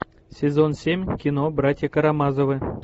сезон семь кино братья карамазовы